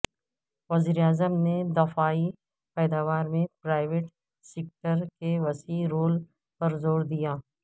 وزیر اعظم نے دفاعی پیداوار میں پرائیویٹ سیکٹر کے وسیع رول پر زور دیا